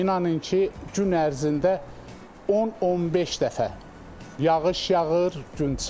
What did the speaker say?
İnanın ki, gün ərzində 10-15 dəfə yağış yağır, gün çıxır.